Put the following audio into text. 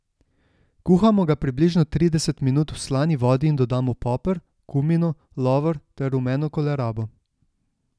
Kuhamo ga približno trideset minut v slani vodi in dodamo poper, kumino, lovor ter rumeno kolerabo.